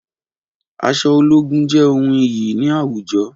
Aṣọ ológun jé ohùn iyì ni àwùjọ wa